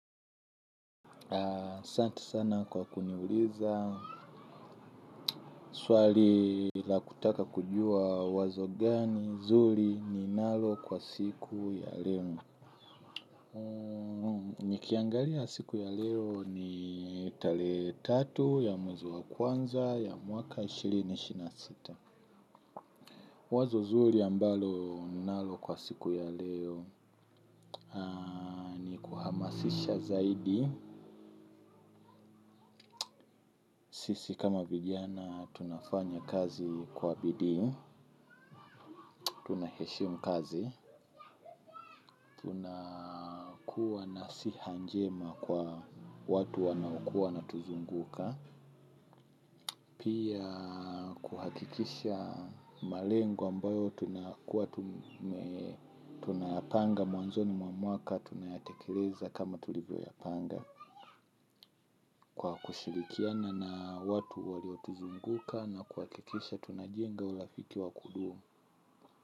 Santi sana kwa kuniuliza swali la kutaka kujua wazo gani zuri ni nalo kwa siku ya leo. Nikiangalia siku ya leo ni tarehe tatu ya mwezi wa kwanza ya mwaka elfu mbili na ishirini na sita, wazo zuri ambalo nalo kwa siku ya leo Sisha zaidi, sisi kama vijana tunafanya kazi kwa bidii tunaheshimu kazi na siha njema kwa watu wanaokuwa wanatuzunguka. Pia kuhakikisha malengo ambayo tunayapanga mwanzoni mwaka tunayatekeleza kama tulivyo yapanga. Kwa kushilikiana na watu walio tuzunguka na kuhakikisha tunajenga urafiki wa kudumu.